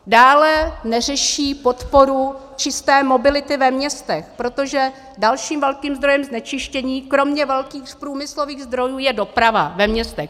Dále neřeší podporu čisté mobility ve městech, protože dalším velkým zdrojem znečištění kromě velkých průmyslových zdrojů je doprava ve městech.